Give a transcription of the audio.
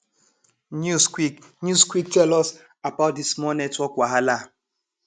news quick news quick tell us about di small network wahala